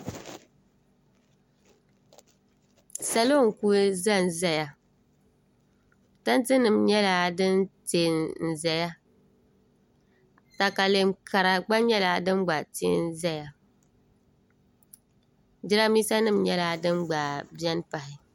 salo n-kuli za n-zaya tantenima nyɛla din te n-zaya takalɛm kara gba nyɛla din gba te n-zaya jirambiisanima nyɛla din gba beni pahi